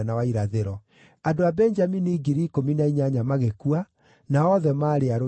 Andũ a Benjamini ngiri ikũmi na inyanya magĩkua, nao othe maarĩ arũi njamba.